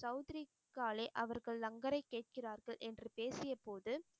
சவுத்ரிகாலே அவர்கள் லங்கரை கேட்கிறார்கள் என்று பேசியபோது